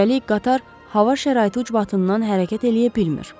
Üstəlik qatar hava şəraiti ucbatından hərəkət eləyə bilmir.